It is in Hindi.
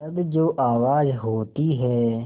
तब जो आवाज़ होती है